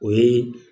O ye